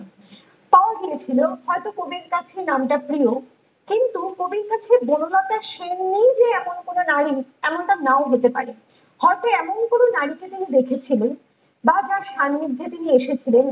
তাও বলেছিলো কবির কাছে নামটা প্রিয় কিন্তু কবির কাছে বনলতা সেনেই যে এমন কোনো নারী এমনটা নাও হতে পারে । হয়তো এমন কোনো নারী কে তিনি দেখেছিলেন বা তার সানিধ্যে তিনি এসেছিলেন